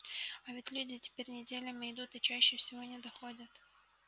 а ведь люди теперь неделями идут и чаще всего не доходят